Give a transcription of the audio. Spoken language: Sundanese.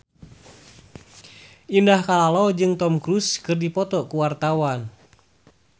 Indah Kalalo jeung Tom Cruise keur dipoto ku wartawan